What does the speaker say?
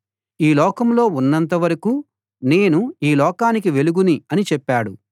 ఈ లోకంలో ఉన్నంతవరకూ నేను ఈ లోకానికి వెలుగుని అని చెప్పాడు